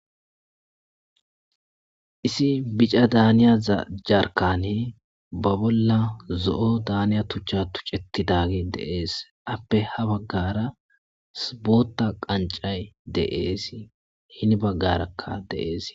Issi bichcha daniyaza jarkkani ba bolla zo'o daniya tuuchcha tuchchetidagge de'es. Appe habaggara booththa qanccay de'es. Hinni bagarakka de'es.